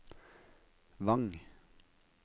Vang